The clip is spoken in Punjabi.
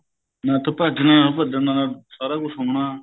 ਹਾਂ ਇੱਥੋ ਭੱਜਣਾ ਭੱਜਣਾ ਨਾਲ ਸਾਰਾ ਕੁੱਝ ਸੁਣਨਾ